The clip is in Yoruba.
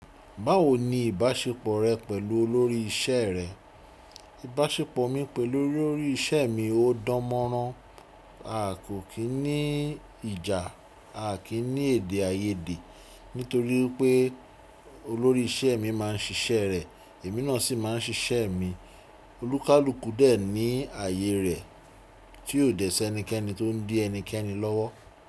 Báwo ni ìbáṣepọ̀ rẹ pẹ̀lú olórí iṣẹ́ rẹ? Ìbáṣepọ̀ mi pẹ̀lú olórí iṣẹ́ mi ó dán mọ́rán. A kò kí ní ìjà, a kí ní èdè àìyedè nítorí pé olórí iṣẹ́ mi maá ń siṣẹ́ rẹ̀, èmi náà sì maá ń siṣẹ́ mi. Olúkálùkù dẹ̀ ní àye rẹ̀ tí ó dẹ̀ sí ẹnikẹ́ni tó ń dí ẹnikẹ́ni lọ́wọ́.